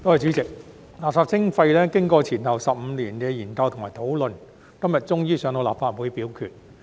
主席，垃圾徵費經過前後15年的研究和討論，今天終於交到立法會表決。